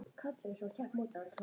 Það fer að falla út bráðum.